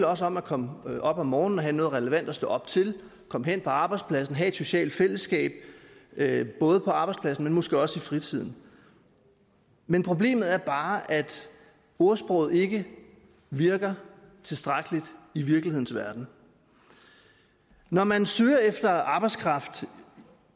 også om at komme op om morgenen og have noget relevant at stå op til komme hen på arbejdspladsen have et socialt fællesskab både på arbejdspladsen men måske også i fritiden men problemet er bare at ordsproget ikke virker tilstrækkeligt i virkelighedens verden når man søger efter arbejdskraft